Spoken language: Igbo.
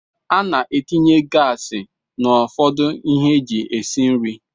Ana etinye gas na ụfọdụ ihe eji esi nri.